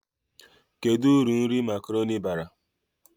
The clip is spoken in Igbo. Kedu uru nri makaroni bara?